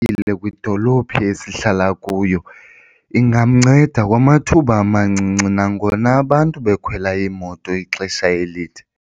Kwidolophu esihlala kuyo ingamnceda kwamathuba amancinci nangona abantu bekhwela imoto ixesha elide.